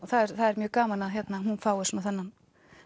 það er mjög gaman að hún fái þennan